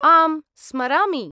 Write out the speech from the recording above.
आम्, स्मरामि।